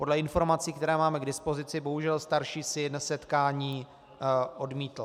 Podle informací, které máme k dispozici, bohužel starší syn setkání odmítl.